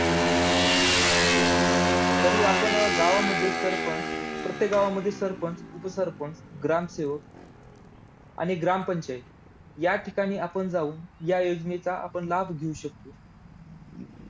तर हे आपण गावामध्ये सरपंच, प्रत्येक गावामध्ये सरपंच, उपसरपंच, ग्रामसेवक आणि ग्रामपंचायत या ठिकाणी आपण जाऊन, या योजनेचा आपण लाभ घेऊ शकतो. हम्म